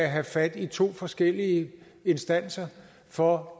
have fat i to forskellige instanser for